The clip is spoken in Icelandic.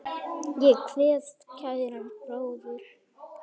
Ég kveð kæran bróður.